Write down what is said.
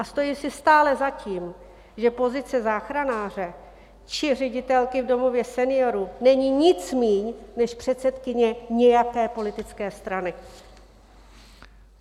A stojím si stále za tím, že pozice záchranáře či ředitelky v domově seniorů není nic méně než předsedkyně nějaké politické strany.